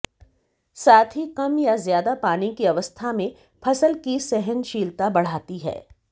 साथ ही कम या ज्यादा पानी की अवस्था में फसल की सहनशीलता बढ़ाती है